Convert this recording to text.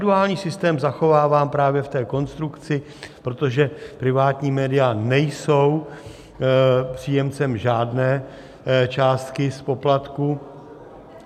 Duální systém zachovávám právě v té konstrukci, protože privátní média nejsou příjemcem žádné částky z poplatků.